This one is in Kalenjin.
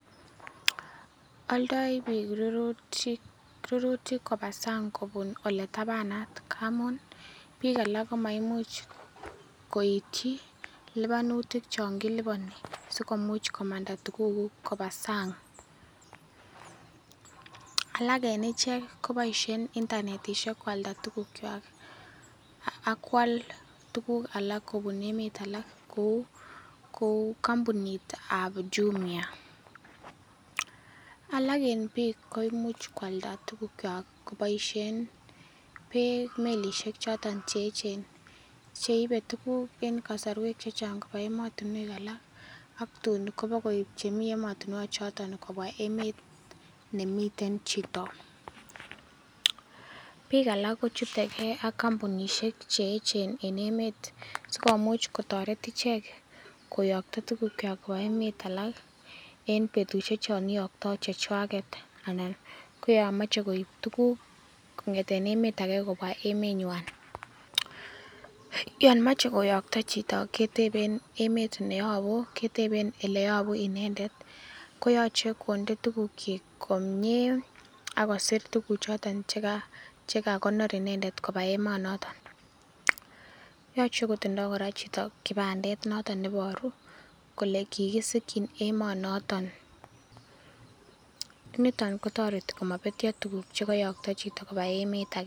Oldoi biik rurutik koba sang kobun ole itabanat ngamun, biik alak komaimuch koityi lipanutik chon kiliponi sikomuch komanda tuguk kuk koba sang. Alak en ichek koboisien internetishek koalda tuguk kywak ak koal tuguk alak kobun emet alak kou kompunit ab Jumia alak en biik koimuch koalda tugukywak koboisien melishek choton che eechen cheibe tuguk en kosarwek che chang koba emotinwek alak ak tun kobakoib che emotinwek choton kobwa emet nemiten chito. Biika alak kochute gee ak kompunishek che eechen en emet sikomuch kotoret ichek koyokto tugukywak koba emet alak en betushek chon iyokto chechwaget anan koyomoche koib tuguk kong'eten emet age kobwa emenywan. Yon moche koyokto chito keteben emet neyobu, keteben ole yobu inendet, koyoche konde tugukyik komie ak kosir tuguk choto che kagonor inendet koba emonoto. Yoche kotindo kora chito kipandet noton neiboru kole kigisikyin emonoton niton kotoreti komabetyo tuguk chekoyokto chito koba emet age.